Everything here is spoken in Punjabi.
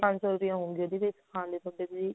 ਪੰਜ ਸੋ ਰੁਪਏ ਲਉਂਗੇ ਉਹਦੇ ਸਿਖਾਨ ਦੇ ਥੋੜੇ ਜੀ